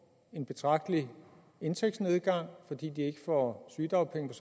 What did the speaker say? en betragtelig indtægtsnedgang fordi de ikke får sygedagpenge